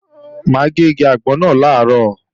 Mà á gé igi àgbọn náà làárọ̀